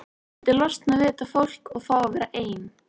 Ég vildi losna við þetta fólk og fá að vera ein.